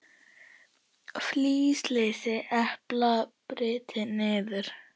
Flysjið eplin og brytjið niður.